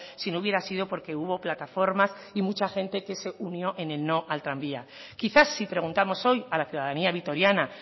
si no hubiera sido porque hubo plataformas y mucha gente que se unió en el no al tranvía quizás si preguntamos hoy a la ciudadanía vitoriana